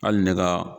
Hali ne ka